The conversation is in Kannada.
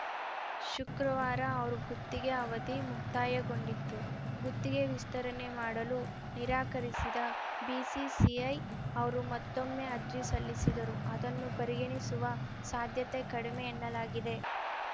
ಶುಕ್ರವಾರ ಅವರ ಗುತ್ತಿಗೆ ಅವಧಿ ಮುಕ್ತಾಯಗೊಂಡಿತು ಗುತ್ತಿಗೆ ವಿಸ್ತರಣೆ ಮಾಡಲು ನಿರಾಕರಿಸಿದ ಬಿಸಿಸಿಐ ಅವರು ಮತ್ತೊಮ್ಮೆ ಅರ್ಜಿ ಸಲ್ಲಿಸಿದರೂ ಅದನ್ನು ಪರಿಗಣಿಸುವ ಸಾಧ್ಯತೆ ಕಡಿಮೆ ಎನ್ನಲಾಗಿದೆ